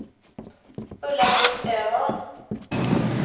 Ulla-Britt Öman